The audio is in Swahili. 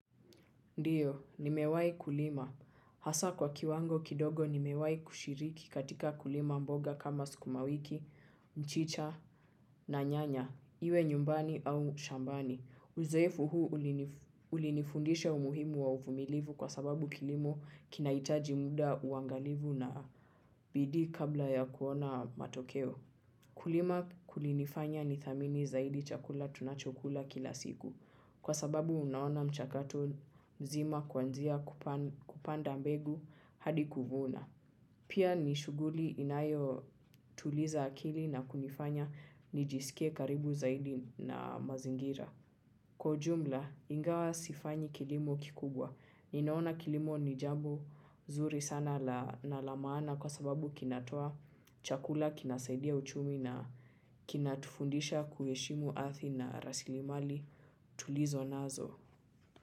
Ndiyo, nimewahi kulima. Hasa kwa kiwango kidogo nimewahi kushiriki katika kulima mboga kama sukumawiki, mchicha na nyanya, iwe nyumbani au shambani. Uzoefu huu ulinifundishe umuhimu wa uvumilivu kwa sababu kilimo kinahitaji muda uangalivu na bidii kabla ya kuona matokeo. Kulima kulinifanya ni thamini zaidi chakula tunachokula kila siku kwa sababu unaona mchakato mzima kwanzia kupanda mbegu hadi kuvuna. Pia ni shughuli inayo tuliza akili na kunifanya ni jisikie karibu zaidi na mazingira. Kwa ujumla ingawa sifanyi kilimo kikubwa ninaona kilimo ni jambo nzuri sana na la maana kwa sababu kinatoa chakula kinasaidia uchumi na kinatufundisha kuheshimu ardhi na rasilimali tulizo nazo.